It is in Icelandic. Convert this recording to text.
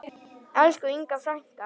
Elsku Inga frænka.